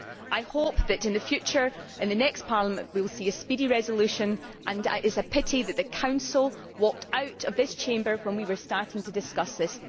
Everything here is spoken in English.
I hope that in the future, in the next Parliament, we will see a speedy resolution and it is a pity that the Council walked out of this Chamber when we were starting to discuss this.